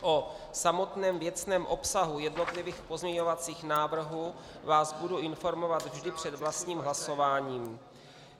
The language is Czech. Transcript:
O samotném věcném obsahu jednotlivých pozměňovacích návrhů vás budu informovat vždy před vlastním hlasováním.